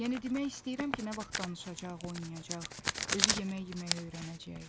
Yəni demək istəyirəm ki, nə vaxt danışacaq, oynayacaq, özü yemək yeməyi öyrənəcək.